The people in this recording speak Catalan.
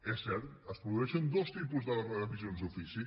és cert es produeixen dos tipus de revisions d’ofici